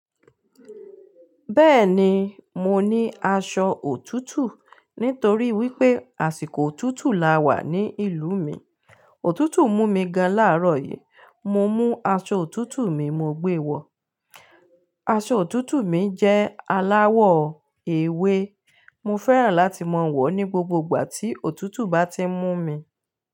Bẹ́ẹ̀ni, mo ní aṣọ òtútù nítorí wípé àsìkò òtútù la wà ní ìlú mi. Òtútù mú mi gan láàárọ̀ yìí, mo mú aṣọ òtútù mi mo gbé e wọ̀. Aṣọ òtútù mi jẹ́ aláwọ̀ ewé. Mo fẹ́ràn láti máa wọ̀ ọ́ ní gbogbo ìgbà tí òtútù bá ti ń mú mi.